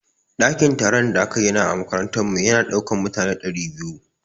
Ɗakin taron da aka gina a makarantar mu ya na ɗaukan mutane ɗari biyu